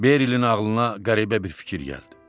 Berilin ağılına qəribə bir fikir gəldi.